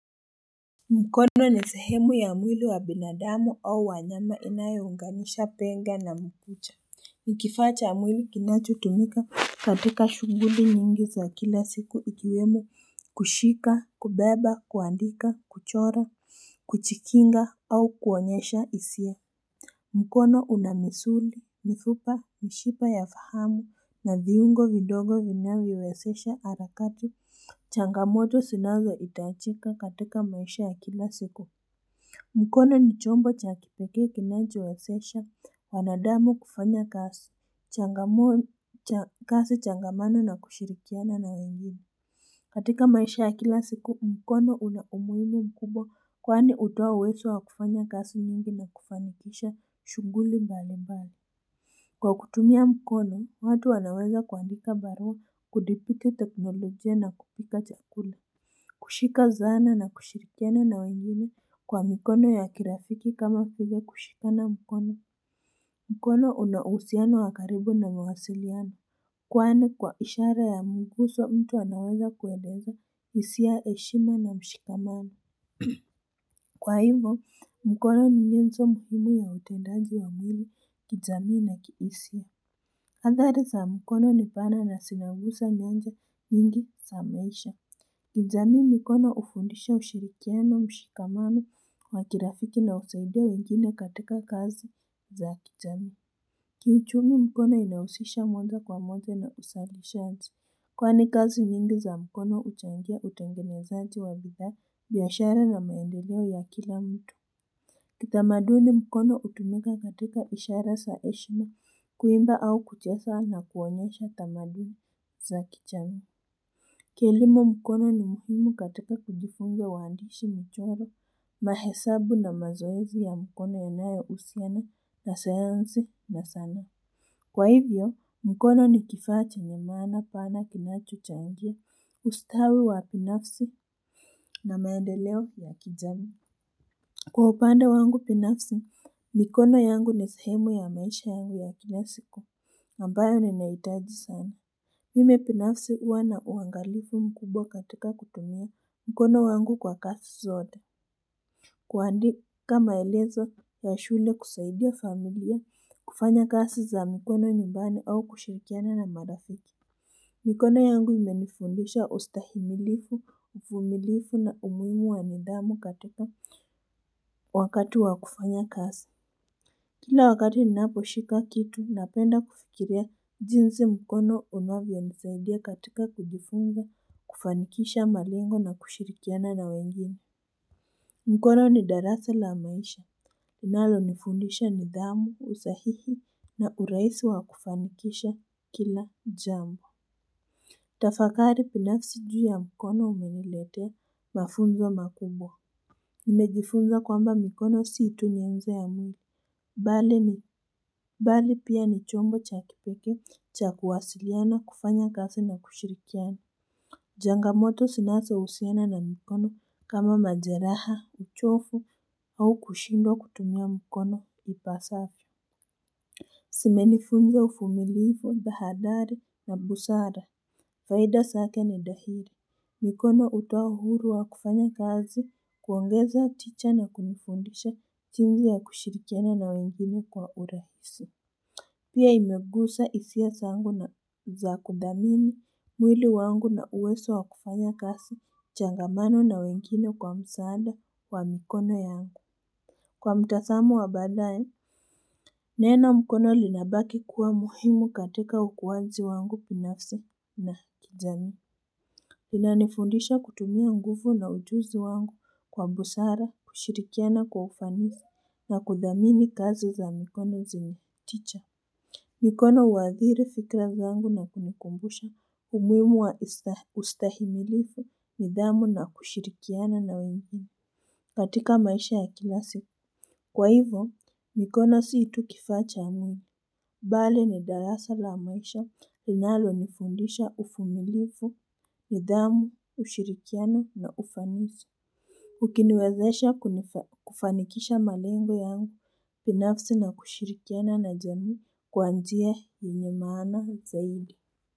Mkono ni sehemu ya mwili wa binadamu au wanyama inayounganisha penga na mkucha. Ni kifaa cha mwili kinachotumika katika shuguli nyingi za kila siku ikiwemo kushika kubeba kuandika kuchora kuchikinga au kuonyesha isia. Mkono una misuli, mifupa, mishipa ya fahamu, na viungo vidogo vinavyowesesha alakati, changamoto sinazoitachika katika maisha ya kila siku. Mkono ni chombo cha kipekee kinajowesesha, wanadamu kufanya kasi, changamano na kushirikiana na wengine. Katika maisha ya kila siku mkono una umuhimu mkubwa kwani hutoa uwezo wa kufanya kazi nyingi na kufanikisha shughuli mbali mbali. Kwa kutumia mkono watu wanaweza kuandika barua kudhibiti teknolojia na kupika chakula. Kushika zana na kushirikiana na wengine kwa mikono ya kirafiki kama vile kushikana mkono. Mkono una uhusiano wa karibu na mawasiliano. Kwani kwa ishara ya muguzo mtu anaweza kueleza hisia heshima na mshikamano. Kwa hivo mkono ni nyenzo muhimu ya utendaji wa mwili kijamii na kihisia athari za mkono ni pana na zinagusa nyanja nyingi za maisha. Kijamii mikono hufundisha ushirikiano mshikamano wa kirafiki na husaidia wengine katika kazi za kijamii. Kiuchumi mkono inahusisha moja kwa moja na uzalishaji. Kwani kazi mingi za mkono uchangia utengenezanji wa bidhaa, biashara na maendeleo ya kila mtu. Kitamaduni mkono hutumika katika ishara za heshima kuimba au kucheza na kuonyesha tamaduni za kijamii. Kielimu mkono ni muhimu katika kujifunza uandishi, michoro, mahesabu na mazoezi ya mkono yanayohusiana na sayansi na sanaa. Kwa hivyo, mkono ni kifaa chenye maana pana kinachochangia ustawi wa binafsi na maendeleo ya kijamii. Kwa upande wangu binafsi, mikono yangu ni sehemu ya maisha yangu ya kila siku ambayo ni naitaji sana. Mimi binafsi huwa na uangalifu mkubwa katika kutumia mkono wangu kwa kazi zote. Kuandika maelezo ya shule kusaidia familia kufanya kasi za mkono nyumbani au kushirikiana na marafiki. Mikono yangu imenifundisha ustahimilifu, uvumilivu na umuhimu wa nidhamu katika wakati wa kufanya kazi. Kila wakati ninapo shika kitu na penda kufikiria jinsi mkono unavyonisaidia katika kujifunza kufanikisha malengo na kushirikiana na wengine. Mkono ni darasa la maisha linalo nifundisha nidhamu, usahihi na urahisi wa kufanikisha kila jambo. Tafakari binafsi juu ya mkono umeniletea mafunzo makubwa. Nimejifunza kwamba mikono si tu nyeze ya mwili mbali ni mbali pia ni chombo cha kipekee cha kuwasiliana, kufanya kazi na kushirikiana. Changamoto zinazo usiana na mikono kama majeraha, uchovu au kushindwa kutumia mikono ipasavyo zimenifunza uvumilivu, tahadhari na busara. Faida zake ni dahiri. Mikono utoa uhuru wa kufanya kazi, kuongeza, ticha na kunifundisha jinsi ya kushirikiana na wengine kwa urahisi. Pia imegusa hisia zangu na za kudhamini mwili wangu na uwezo wa kufanya kazi changamano na wengine kwa msaada wa mikono yangu. Kwa mtazamo wa badaaye, neno mkono linabaki kuwa muhimu katika ukuwazi wangu binafsi na kijamii. Inanifundisha kutumia nguvu na ujuzi wangu kwa busara kushirikiana kwa ufanisi na kudhamini kazi za mikono zimeticha. Mikono uhadhiri fikra zangu na kunikumbusha umuhimu wa ustahimilifu, nidhamu na kushirikiana na wengine. Katika maisha ya kilasi. Kwa hivo mikono si tuu kifaa cha mwili mbali ni darasa la maisha linalo nifundisha uvumilivu, nidhamu, ushirikiano na ufanisi. Ukiniwezesha kufanikisha malengo yangu binafsi na kushirikiana na jamii kwa njia yenye maana zaidi.